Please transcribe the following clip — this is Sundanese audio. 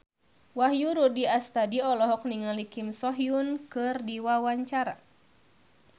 Wahyu Rudi Astadi olohok ningali Kim So Hyun keur diwawancara